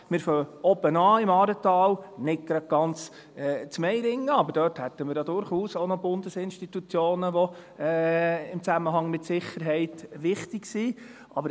– Wir fangen oben an im Aaretal, nicht ganz in Meiringen, aber dort hätten wir durchaus auch Bundesinstitutionen, die im Zusammenhang mit Sicherheit wichtig sind.